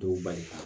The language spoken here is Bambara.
Dɔw bali